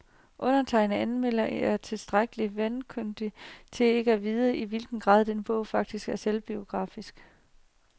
Undertegnede anmelder er tilstrækkelig vankundig til ikke at vide, i hvilken grad denne bog faktisk er selvbiografisk.